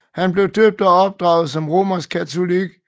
Han blev døbt og opdraget som romersk katolik